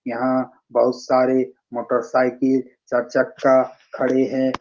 यहाँ बहुत सारे मोटरसाइकिल चार चक्का खड़े है।